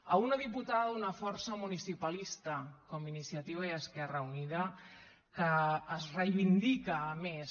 a una diputada d’una força municipalista com iniciativa i esquerra unida que es reivindica a més